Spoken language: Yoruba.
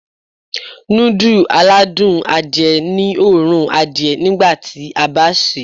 Núdù aládùn adìẹ ní òórùn adìẹ nígbàtí a bá sèé.